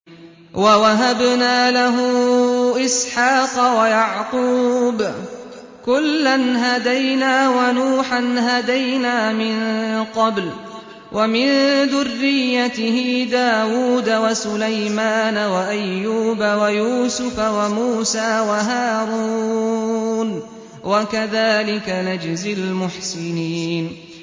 وَوَهَبْنَا لَهُ إِسْحَاقَ وَيَعْقُوبَ ۚ كُلًّا هَدَيْنَا ۚ وَنُوحًا هَدَيْنَا مِن قَبْلُ ۖ وَمِن ذُرِّيَّتِهِ دَاوُودَ وَسُلَيْمَانَ وَأَيُّوبَ وَيُوسُفَ وَمُوسَىٰ وَهَارُونَ ۚ وَكَذَٰلِكَ نَجْزِي الْمُحْسِنِينَ